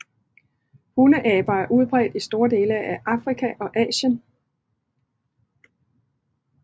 Hundeaber er udbredt i store dele af Afrika og Asien